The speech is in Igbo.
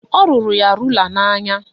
Ọ rụrụ ya rula n'anya